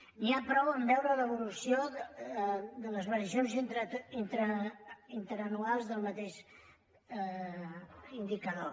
n’hi ha prou a veure l’evolució de les variacions interanuals del mateix indicador